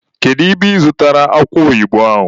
Kedu ebe ị zụtara akụ oyibo ahụ?